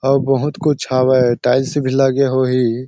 अऊ बहुत कुछ हवय टाइल्स भी लगे होही।